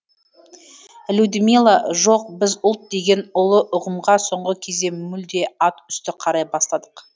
людмила жоқ біз ұлт деген ұлы ұғымға соңғы кезде мүлде ат үсті қарай бастадық